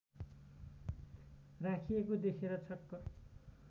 राखिएको देखेर छक्क